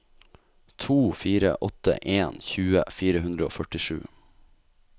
to fire åtte en tjue fire hundre og førtisju